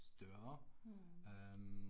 Mh